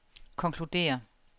konkluderer